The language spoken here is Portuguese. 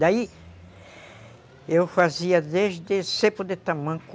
Daí, eu fazia desde cepo de tamanco,